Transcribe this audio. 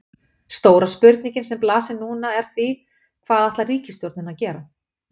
Stóra spurningin sem blasir núna er því, hvað ætlar ríkisstjórnin að gera?